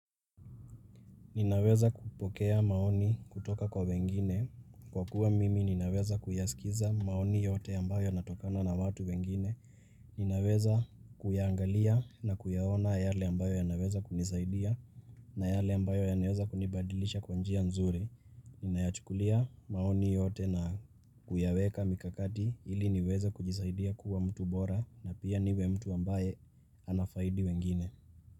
Ninaweza kupokea maoni kutoka kwa wengine, kwa kuwa mimi ninaweza kuyasikiza maoni yote ambayo yanatokana na watu wengine, ninaweza kuyangalia na kuyaona yale ambayo yanaweza kunisaidia na yale ambayo yanaweza kunibadilisha kwa njia nzuri, ninayachukulia maoni yote na kuyaweka mikakati ili niweze kujisaidia kuwa mtu bora na pia niwe mtu ambaye anafaidi wengine.